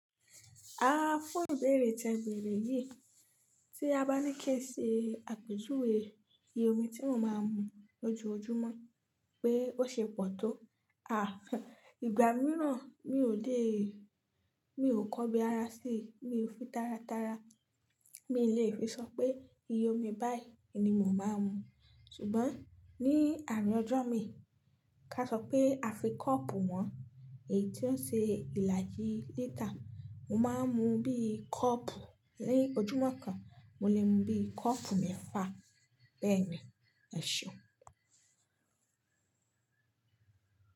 A fún ìbéèrè tẹ bèrè yìí tí a bá ní kí ẹ ṣe àpèjúwe iye omi tíwọ̀n máa ń mu lójoojúmọ́ pé ó ṣe pọ̀ tó. À, ìgbà mìíràn mi ò dé, mi ò kọ́bi ara sí, mi ò fi tára tára. Mi lè fi sọ pé iye omi báyìí ni mo máa ń mu. Ṣùgbọ́n ní àárín ọjọ́ mi, ká sọ pé a fi kọ́ọ̀pù hàn, èyí tí ó ṣe ìlàjì lítà, mo máa ń mu bí i kọ́ọ̀pù lójúmọ́ kan, mo lè mu bí i kọ́ọ̀pù mẹ́fà bẹ́ẹ̀ ni, ẹṣeun.